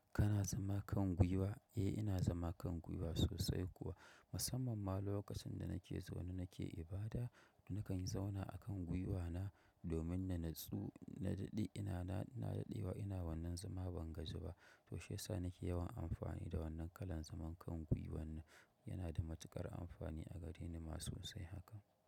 Kana zama kan gwiwa? Eh ina zama kan gwiwa sosai kuwa, musamman ma lokacin da nake zaune nake ibada nakan zauna akan gwiwa na domin na daɗewa ina wannan zama ban gaji ba. Toshe shi yasa nake yawan amfani da wannan kalan zaman kan gwiwa nan. Yana da matukar amfani a gareni ma sosai haka.